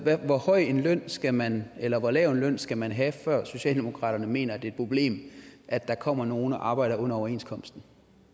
hvor høj en løn skal man eller hvor lav en løn skal man have før socialdemokraterne mener at det er et problem at der kommer nogen og arbejder under overenskomsten